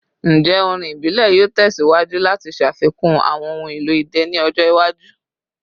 Njẹ orin ibile yoo tẹsiwaju lati ṣafikun awọn ohun elo idẹ ni ọjọ iwaju?